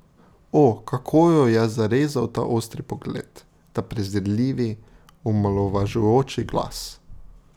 O, kako jo je zarezal ta ostri pogled, ta prezirljivi, omalovažujoči glas.